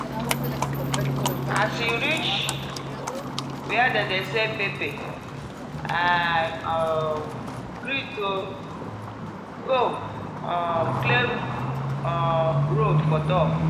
as you reach where dem dey sell pepper “i um greet o” go um clear um road for talk.